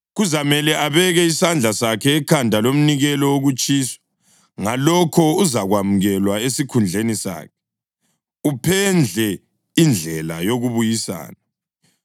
Kuzamele abeke isandla sakhe ekhanda lomnikelo wokutshiswa, ngalokho uzakwamukelwa esikhundleni sakhe, uphendle indlela yokubuyisana.